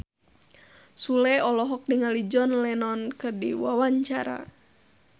Sule olohok ningali John Lennon keur diwawancara